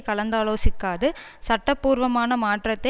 கலந்தாலோசிக்காது சட்ட பூர்வமான மாற்றத்தை